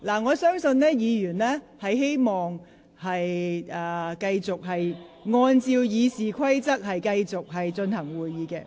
我相信委員都希望繼續按照《議事規則》進行會議。